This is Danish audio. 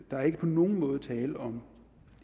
der er ikke på nogen måde tale om